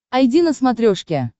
айди на смотрешке